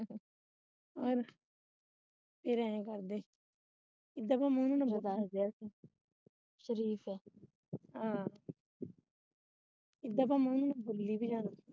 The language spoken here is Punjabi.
ਇੱਦਾਂ ਭਲਾ ਉਹਨਾ ਨੂੰ ਮੈਂ ਬੋਲੀ ਵੀ ਜਾਵਾ ਫਿਰ ਐਂ ਕਰਦੇ।